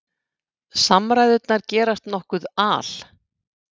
Samræðurnar gerast nokkuð al